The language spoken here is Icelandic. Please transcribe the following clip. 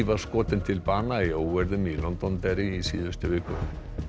var skotin til bana í óeirðum í Londonderry í síðustu viku